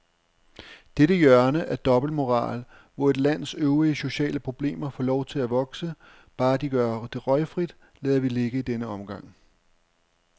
Dette hjørne af dobbeltmoral, hvor et lands øvrige sociale problemer får lov at vokse, bare de gør det røgfrit, lader vi ligge i denne omgang.